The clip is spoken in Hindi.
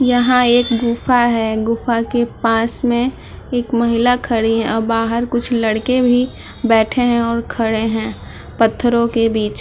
यहाँ एक गूफा है गुफा के पास में एक महिला खड़ी है अ बाहर कुछ लड़के भी बैठे हैं और खड़े हैं पत्थरों के बीच।